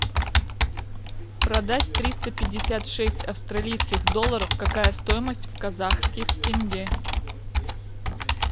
продать триста пятьдесят шесть австралийских долларов какая стоимость в казахских тенге